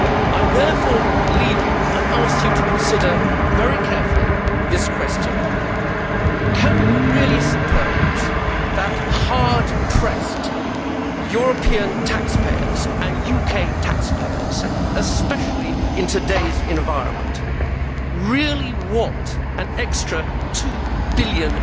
I therefore leave you and ask you to consider very carefully this question can you really suppose that hard pressed European taxpayers and UK taxpayers, especially in today's environment, really want an extra EUR 2 billion